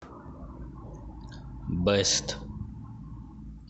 бест